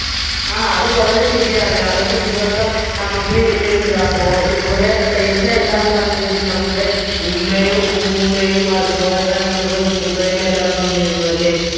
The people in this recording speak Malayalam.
ആ അത് വളരെ ശരിയാണ് അന്നത്തെ ദിവസം നമുക്ക് ഏർ എന്താപ്പോ കുറെ paisa എല്ലാം തന്നിരുന്നു നമ്മുടെ ഉമ്മയും ഉമ്മുമ്മയും അതുപോലെ തന്നെ നമ്മളുടെ ഉപ്പൂപ്പയും എല്ലാം തന്നിരുന്നു അല്ലെ